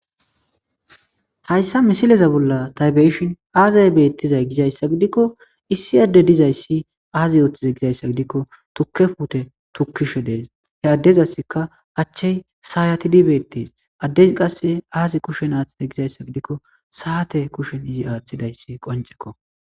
Hayssa misileza bolla taybeshin aazay beettizay gizayssa gidikko issi adde dizayssi aazi yooththiza gizayssa gidikko tukkefute tukkishe dees he addezassika achchey saayati dibeettees addez qasse aazi kushen aaththita gizayssa gidikko saate kushen izi aaththidayssi qoncekko.